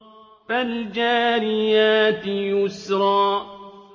فَالْجَارِيَاتِ يُسْرًا